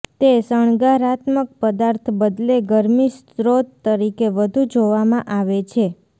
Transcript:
તે શણગારાત્મક પદાર્થ બદલે ગરમી સ્ત્રોત તરીકે વધુ જોવામાં આવે છે